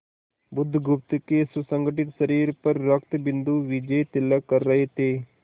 बुधगुप्त के सुगठित शरीर पर रक्तबिंदु विजयतिलक कर रहे थे